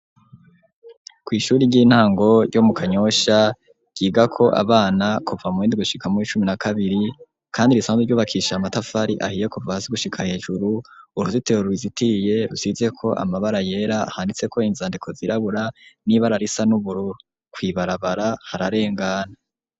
Kw'ishuri ry'intango ryo mu kanyosha ryiga ko abana kuva mu endwe shikamuw'icumi na kabiri, kandi risanzu ryubakisha amatafari ahiye kuvasi gushika hejuru uruzitero ruizitiye rusizeko amabara yera handitse ko inzandiko zirabura n'iba ararisa n'uburu kwibarabara hararengana.